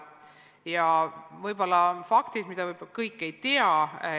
Ja toon ära mõned faktid, mida kõik võib-olla ei tea.